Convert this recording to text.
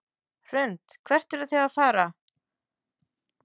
Hrund: Hvert eruð þið að fara?